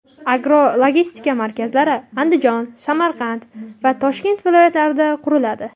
Agrologistika markazlari Andijon, Samarqand va Toshkent viloyatlarida quriladi.